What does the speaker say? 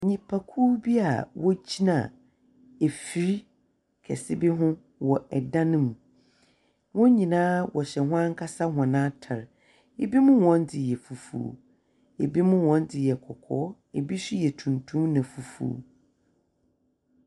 Nnipa kuo bi a wɔgyina mfiri kɛse bi ho wɔ ɛdan mu. wɔnyinaa wɔhyɛ w'ankasa wɔn atare. Ebimo wɔndze yɛ fufuo, ebimo wɔndze yɛ kɔkɔɔ, ebiso yɛ tuntum na fufuo.